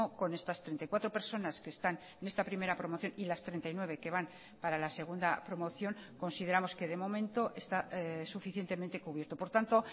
con estas treinta y cuatro personas que están en esta primera promoción y las treinta y nueve que van para la segunda promoción consideramos que de momento está suficientemente cubierto por tanto